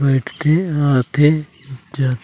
बइठ के ईहा आथे चल--